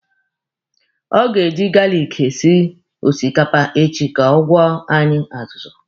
Ọ ga-eji garlic esi osikapa echi ka ọ gwọọ anyị azụzụ.